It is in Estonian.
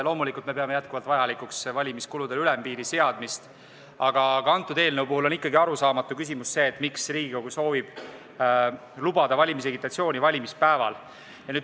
Loomulikult, me peame jätkuvalt vajalikuks valimiskuludele ülempiiri seadmist, aga antud eelnõu puhul on ikkagi arusaamatu see, miks Riigikogu soovib lubada valimisagitatsiooni valimispäeval.